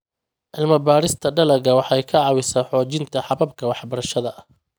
Cilmi-baarista dalagga waxay ka caawisaa xoojinta hababka waxbarashada.